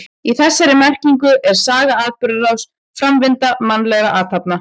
Í þessari merkingu er saga atburðarás, framvinda mannlegra athafna.